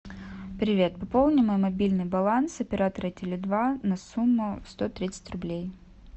привет пополни мой мобильный баланс оператора теле два на сумму сто тридцать рублей